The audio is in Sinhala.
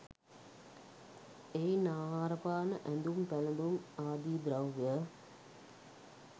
එයින් ආහාරපාන, ඇඳුම් පැළඳුම් ආදී ද්‍රව්‍ය